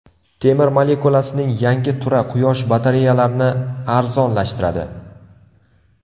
Temir molekulasining yangi turi Quyosh batareyalarni arzonlashtiradi.